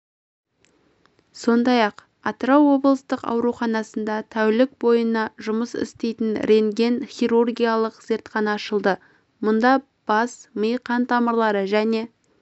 сондай-ақ атырау облыстық ауруханасында тәулік бойына жұмыс істейтін рентген-хирургиялық зертхана ашылды мұнда бас-ми қан тамырлары және